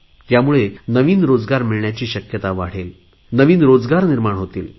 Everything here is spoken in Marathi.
त्यामुळे नवीन रोजगार मिळण्याची शक्यता वाढेल नवीन रोजगार निर्माण होतील